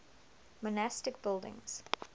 monastic buildings